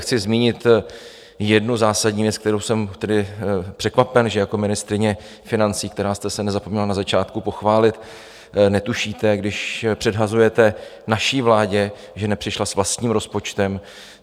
Chci zmínit jednu zásadní věc, kterou jsem překvapen, že jako ministryně financí, která jste se nezapomněla na začátku pochválit, netušíte, když předhazujete naší vládě, že nepřišla s vlastním rozpočtem.